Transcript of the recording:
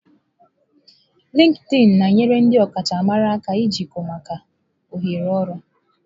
Lịkịịnị na-enyere ndị ọkachamara aka jikọọ maka ohere ọrụ.